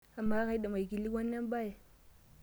Amaa, kaidim aikilikuana embae?